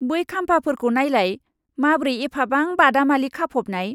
बै खाम्फाफोरखौ नायलाय, माब्रै एफाबां बादामालि खाफबनाय!